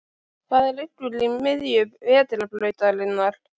Hvað liggur í miðju Vetrarbrautarinnar?